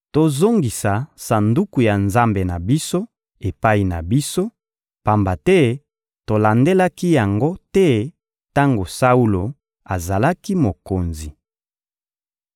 Tozongisa Sanduku ya Nzambe na biso epai na biso, pamba te tolandelaki yango te tango Saulo azalaki mokonzi.»